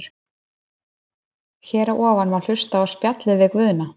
Hér að ofan má hlusta á spjallið við Guðna.